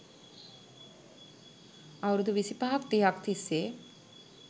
අවුරුදු විසිපහක් තිහක් තිස්සේ